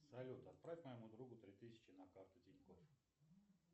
салют отправь моему другу три тысячи на карту тинькофф